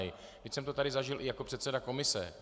Vždyť jsem to tady zažil i jako předseda komise.